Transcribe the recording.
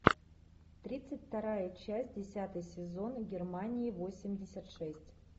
тридцать вторая часть десятый сезон германии восемьдесят шесть